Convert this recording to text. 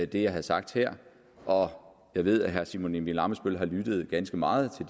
det jeg har sagt her og jeg ved at herre simon emil ammitzbøll har lyttet ganske meget